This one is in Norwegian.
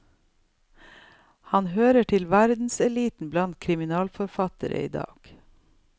Han hører til verdenseliten blant krimforfattere idag.